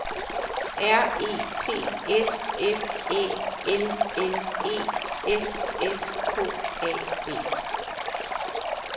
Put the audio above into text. R E T S F Æ L L E S S K A B